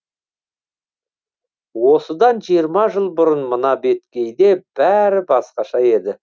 осыдан жиырма жыл бұрын мына беткейде бәрі басқаша еді